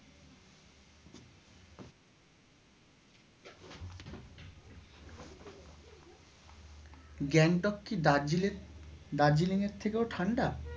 গ্যাংটক কি দার্জিলের দাজিলিং এর থেকেও ঠান্ডা?